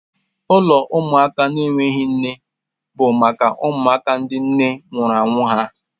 Ụlọ ụmụaka na-enweghị nne bụ maka ụmụaka ndị nne nwụnahụrụ ha